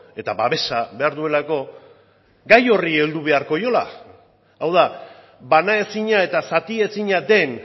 eta babesa behar duelako gai horri heldu beharko diola hau da banaezina eta zatiezina den